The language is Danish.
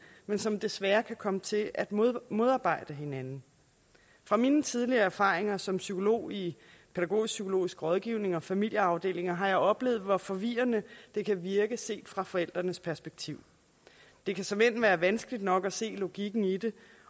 men som desværre kan komme til at modarbejde hinanden fra mine tidligere erfaringer som psykologi i pædagogisk psykologisk rådgivning og familieafdelinger har jeg oplevet hvor forvirrende det kan virke set fra forældrenes perspektiv det kan såmænd være vanskeligt nok at se logikken i det